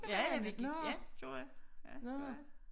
Ja ja vi gik ja gjorde jeg ja det gjorde jeg